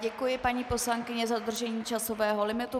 Děkuji, paní poslankyně, za dodržení časového limitu.